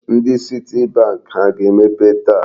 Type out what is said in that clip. Ndị citibank ha ga-emepe taa?